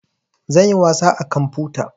Zan yi wasa a kamfuta